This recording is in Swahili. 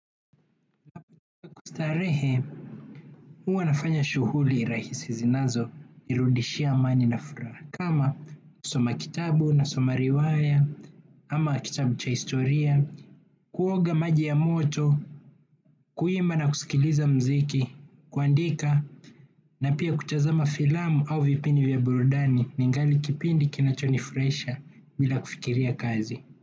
Kwa kustarehe, huwa nafanya shughuli rahisi zinazonirudishia amani na furaha. Kama kusoma kitabu na soma riwaya, ama kitabu cha historia, kuoga maji ya moto, kuimba na kusikiliza muziki, kuandika, na pia kutazama filamu au vipindi vya burudani ningali kipindi kinachonifurahisha bila kufikiria kazi.